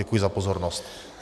Děkuji za pozornost.